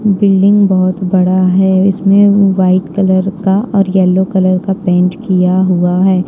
Building बहुत बड़ा है इसमें वाइट कलर का और येलो कलर का पेंट किया हुआ है।